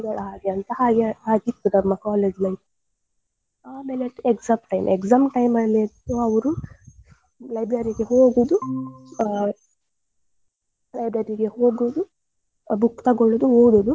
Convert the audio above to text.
ಅಂತ ಹಾಗೆ ಆಗಿತ್ತು ನಮ್ಮ college life . ಆಮೇಲೆ exam time, exam time ಅಲ್ಲಿ ಅಂತೂ library ಗೆ ಹೋಗುದು library ಗೆ ಹೋಗುದು book ತಗೋಳೋದು ಓದುದು.